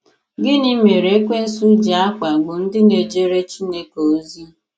Gịnị mereEkwensu ji akpagbu ndị na ejere Chineke ozi?